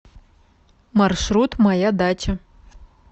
маршрут моя дача